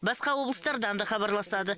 басқа облыстардан да хабарласады